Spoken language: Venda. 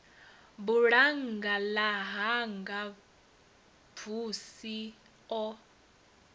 bulannga ḽa hanga xvusi o